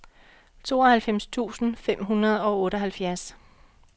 tooghalvfems tusind fem hundrede og otteoghalvfjerds